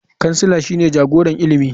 Kansila shine jagoran ilimi.